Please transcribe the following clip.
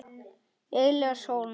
Elías Hólm.